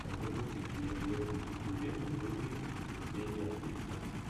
запусти кинематографическую ленту в духе выступление артиста